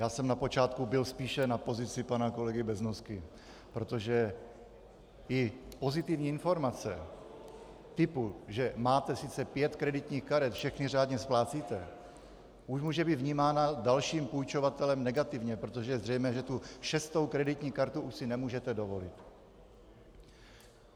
Já jsem na počátku byl spíše na pozici pana kolegy Beznosky, protože i pozitivní informace typu, že máte sice pět kreditních karet, všechny řádně splácíte, už může být vnímána dalším půjčovatelem negativně, protože je zřejmé, že tu šestou kreditní kartu si už nemůžete dovolit.